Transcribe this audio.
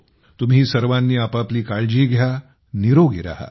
तुम्ही सर्वांनी आपापली काळजी घ्या निरोगी रहा